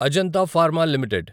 Ajanta pharma limited